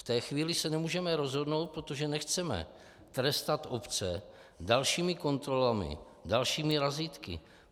V té chvíli se nemůžeme rozhodnout, protože nechceme trestat obce dalšími kontrolami, dalšími razítky.